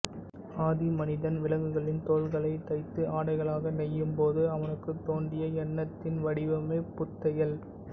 ஆதி மனிதன் விலங்குகளின் தோல்களைத் தைத்து ஆடைகளாக நெய்யும் போது அவனுக்கு தோன்றிய எண்ணத்தின் வடிவமே பூத்தையல்